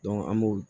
an b'o